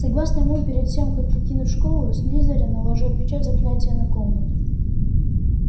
согласно ему перед тем как покинуть школу слизерин наложил печать заклятия на комнату